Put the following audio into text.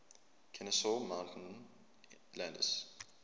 kenesaw mountain landis